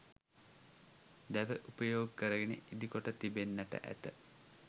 දැව උපයෝගි කරගෙන ඉදිකොට තිබෙන්නෙට ඇත